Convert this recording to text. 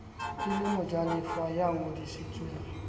e le mojalefa ya ngodisitsweng